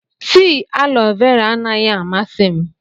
Tii alọ vera anaghị amasị m.